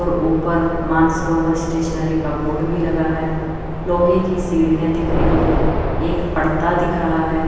और ऊपर मानसरोवर स्टेशनरी का बोर्ड भी लगा है लोहे की सीढ़ियां दिख रही है एक पड़दा दिख रहा है।